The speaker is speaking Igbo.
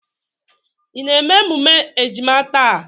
Ị na-eme emume ejima taa?